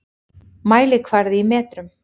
Mælikvarði í metrum.